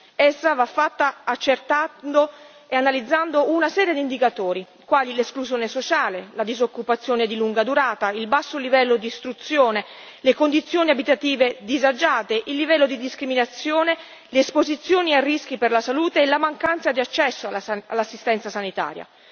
Essa va fatta accertando e analizzando una serie di indicatori, quali l'esclusione sociale, la disoccupazione di lunga durata, il basso livello di istruzione, le condizioni abitative disagiate, il livello di discriminazione, le esposizioni a rischi per la salute e la mancanza di accesso all'assistenza sanitaria.